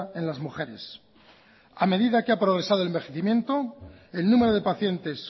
en las mujeres a medida que ha progresado el envejecimiento el número de pacientes